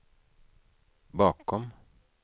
bakom